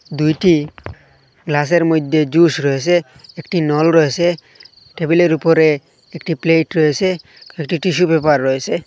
দুইটি গ্লাস -এর মইদ্যে জুস রয়েসে একটি নল রয়েসে টেবিল -এর উপরে একটি প্লেট রয়েসে একটি টিস্যু পেপার রয়েসে।